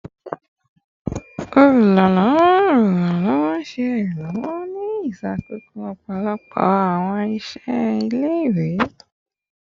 Oluranlọwọ Oluranlọwọ ṣe iranlọwọ ni ṣiṣakoso ọpọlọpọ awọn iṣẹ ile-iwe